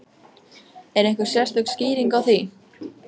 Er einhver sérstök skýring á því?